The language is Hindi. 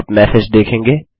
आप मैसेज देखेंगे